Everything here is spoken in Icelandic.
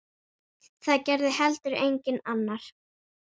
Það gerði heldur enginn annar.